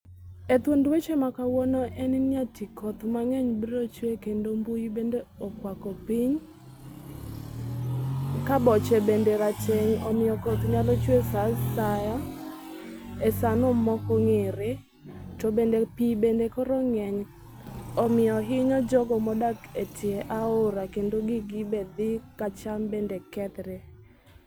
Ethuond weche makawuono enni eti koth mang'eny brochwe kendo mbui bande okwako piny ka boche bende rateng' omiyo koth nyalo chwe esaa asaya asano mokong'ere. Tobende pii bende koro ng'eny omiyo ahinya jogo modak etie aora kendo gig be dhi kacham bende kethre.